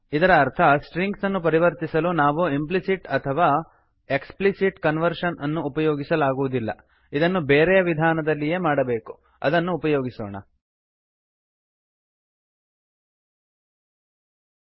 cannot cast from string to int ಅಂದರೆ string ನಿಂದ int ಗೆ ಕಾಸ್ಟ್ ಮಾಡಲು ಆಗುವುದಿಲ್ಲ ಇದರ ಅರ್ಥ ಸ್ಟ್ರಿಂಗ್ಸನ್ನು ಪರಿವರ್ತಿಸಲು ನಾವು ಇಂಪ್ಲಿಸಿಟ್ ಅಥವಾ ಎಕ್ಸ್ಪ್ಲಿಸಿಟ್ ಕನ್ವರ್ಷನ್ ಅನ್ನು ಉಪಯೋಗಿಸಲಾಗುವುದಿಲ್ಲ